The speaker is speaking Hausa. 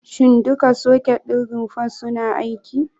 Shin duka soket ɗin rumfar suna aiki?